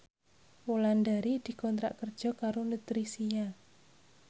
Wulandari dikontrak kerja karo Nutricia